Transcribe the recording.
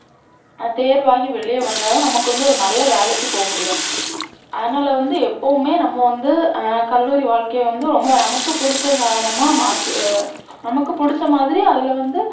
தேர்வாகி வெளிய வந்தாதான் நமக்கு வந்து ஒரு நல்ல வேலைக்கு போக முடியும். அதனால வந்து எப்போவுமே நம்ம வந்து, ஹம் கல்லூரி வாழ்க்கைய வந்து ரொம்ப நமக்கு பிடிச்ச சாதனமா மாத்தி, அஹ் நமக்கு பிடிச்ச மாதிரி அதுல வந்து